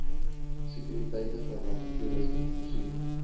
sekuriteitverwante toerusting voorsien